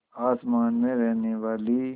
आसमान में रहने वाली